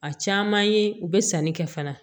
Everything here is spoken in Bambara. A caman ye u bɛ sanni kɛ fana